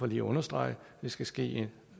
lige understrege at det skal ske